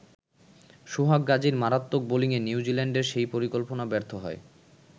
সোহাগ গাজীর মারাত্মক বোলিংয়ে নিউজিল্যান্ডের সেই পরিকল্পনা ব্যর্থ হয়।